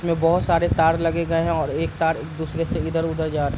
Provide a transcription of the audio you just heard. जिसमें बहोत सारे तार लगे गए हैं और एक तार दूसरे से इधर-उधर जा --